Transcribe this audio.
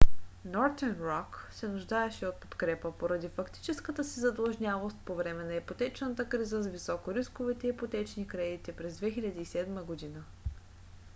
northern rock се нуждаеше от подкрепа поради фактическата си задлъжнялост по време на ипотечната криза с високорисковите ипотечни кредити през 2007 г